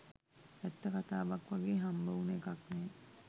ඇත්ත කතාවක් වගේ හම්බවුනු එකක් නෑ.